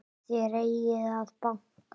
Þér eigið að banka!